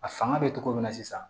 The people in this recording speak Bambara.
A fanga bɛ togo min na sisan